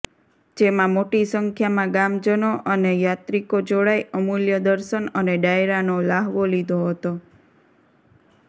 જેમાં મોટી સંખ્યામાં ગામજનો અને યાત્રિકો જોડાઇ અમુલ્ય દર્શન અને ડાયરાનો લ્હાવો લીધો હતો